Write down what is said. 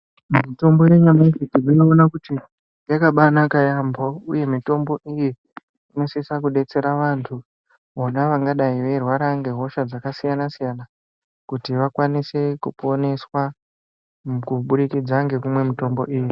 Mitombo yenyamashi tinoona kuti yakabanaka yaamho uye mitombo inosisa kudetsera vantu vona vangadai veirwada ngehosha dzakasiyana-siyana kuti vakwanise kuponeswa, kuburikidza ngekumwe mitombo iyi.